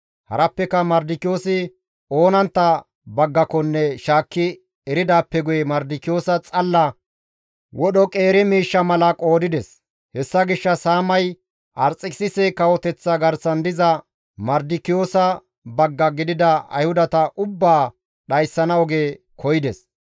Harappeka Mardikiyoosi oonantta baggakonne shaakki eridaappe guye Mardikiyoosa xalla wodhoy qeeri miishsha mala qoodides. Hessa gishshas Haamay Arxekisise kawoteththa garsan diza Mardikiyoosa bagga gidida Ayhudata ubbaa dhayssana oge koyides.